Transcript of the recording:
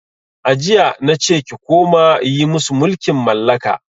A jiya nace ki koma yi musu mulkin mallaka!